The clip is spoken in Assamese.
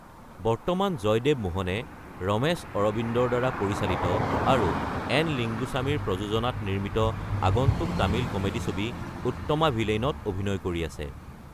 বৰ্তমান জয়দেৱ মোহনে ৰমেশ আৰাবিন্দৰ দ্বাৰা পৰিচালিত আৰু এন লিংগুছামীৰ প্ৰযোজনাত নিৰ্মিত আগন্তুক তামিল কমেডী ছবি উত্তমা ভিলেইন ত অভিনয় কৰি আছে।